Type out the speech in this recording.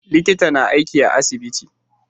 Likita na aiki a asibiti